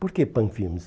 Por que Panfilmes?